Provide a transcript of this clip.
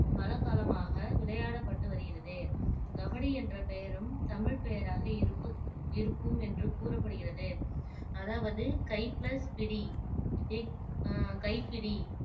பல காலமாக விளையாடப்பட்டு வருகிறது கபடி என்ற பெயரும் தமிழ் பெயராக இருக்கக் இருக்கும் என்று கூறப்படுகிறது அதாவது கை பிளஸ் பிடி ஆஹ் கைப்பிடி